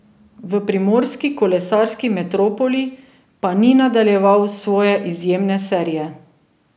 V primorski kolesarski metropoli pa ni nadaljeval svoje izjemne serije.